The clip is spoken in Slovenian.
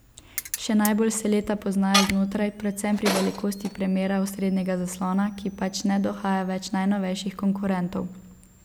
Še najbolj se leta poznajo znotraj, predvsem pri velikosti premera osrednjega zaslona, ki pač ne dohaja več najnovejših konkurentov.